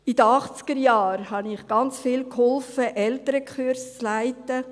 In den Achtzigerjahren half ich, ganz viele Elternkurse zu leiten.